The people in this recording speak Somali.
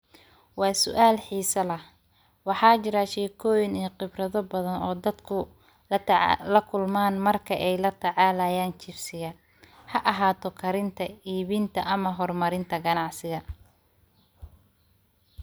Waa sual xiso leh, Waxaa jira shekoyin badan oo dadka ay la kulman markey latacalayan chibsiga. Haa ahato ,karinta, ibinta ama hormarinta ganacsiga .